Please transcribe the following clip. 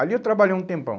Ali eu trabalhei um tempão.